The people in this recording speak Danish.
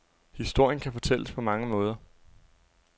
Historien kan fortælles på mange måder.